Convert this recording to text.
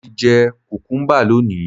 Mo ti jẹ kùkúḿbà lónìí